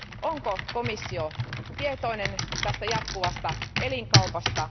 Onko komissio tietoinen tästä jatkuvasta elinkaupasta?